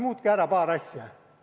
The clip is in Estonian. Muutke ära paar asja.